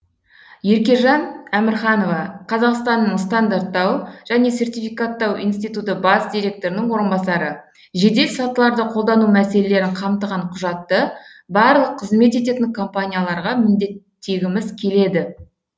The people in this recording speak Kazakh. еркежан әмірханова қазақстанның стандарттау және сертификаттау институты бас директорының орынбасары жеделсатыларды қолдану мәселелерін қамтыған құжатты барлық қызмет ететін компанияларға міндеттегіміз келеді